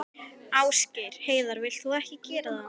Ásgeir Heiðar: Vilt þú ekki gera það?